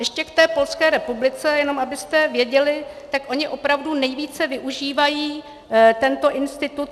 Ještě k té Polské republice, jenom abyste věděli, tak oni opravdu nejvíce využívají tento institut.